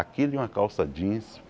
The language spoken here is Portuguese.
Aquilo e uma calça jeans.